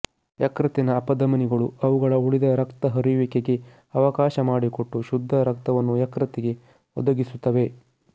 ಯಕೃತ್ತಿನ ಅಪಧಮನಿಗಳು ಅವುಗಳ ಉಳಿದ ರಕ್ತ ಹರಿಯುವಿಕೆಗೆ ಅವಕಾಶ ಮಾಡಿಕೊಟ್ಟು ಶುದ್ಧ ರಕ್ತವನ್ನು ಯಕೃತ್ತಿಗೆ ಒದಗಿಸುತ್ತವೆ